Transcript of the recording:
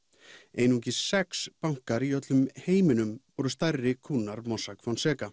einungis sex bankar í öllum heiminum voru stærri kúnnar Mossack